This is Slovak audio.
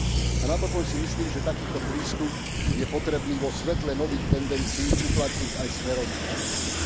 A napokon si myslím, že takýto prístup je potrebný vo svetle nových tendencií uplatniť aj smerom k Rusku.